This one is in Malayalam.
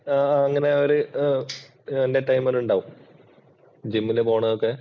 അങ്ങനെയൊരു entertainment ഉണ്ടാവും. ജിമ്മിനു പോണതൊക്കെ.